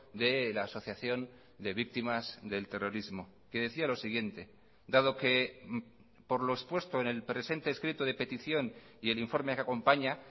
de la asociación de víctimas del terrorismo que decía lo siguiente dado que por lo expuesto en el presente escrito de petición y el informe que acompaña